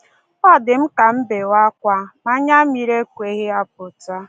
Ọ dị m ka m ka m bewe ákwá, ma anya mmiri ekweghị apụta.